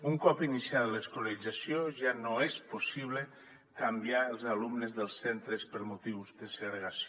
un cop iniciada l’escolarització ja no és possible canviar els alumnes dels centres per motius de segregació